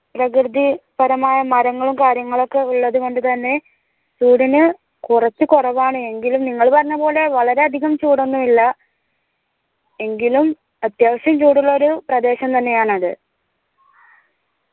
പ്രകൃതി പരമായ മരങ്ങളും കാര്യങ്ങളും ഒക്കെ ഉള്ളതുകൊണ്ട് തന്നെ ചൂടിന് കൊറച്ചു കൊറവാണ് എങ്കിലും നിങ്ങൾ പറഞ്ഞപോലെ വളരെ അധികം ചൂടൊന്നു ഇല്ല എങ്കിലും അത്യാവിശം ചൂടുള്ള ഒരു പ്രദേശം തന്നെയാണത്